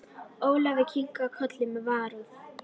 Ólafur kinkaði kolli með varúð.